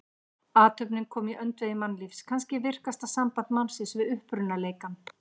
Athöfnin komin í öndvegi mannlífs, kannski virkasta samband mannsins við upprunaleikann.